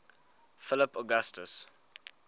philip augustus